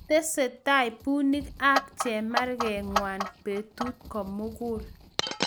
Ketestai punik ak chemarget ngwai petut ko mugul